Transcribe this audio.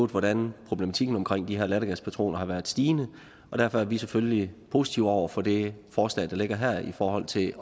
hvordan problematikken omkring de her lattergaspatroner har været stigende og derfor er vi selvfølgelig positive over for det forslag der ligger her i forhold til